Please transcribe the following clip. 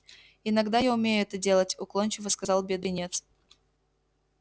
иногда я умею это делать уклончиво сказал бедренец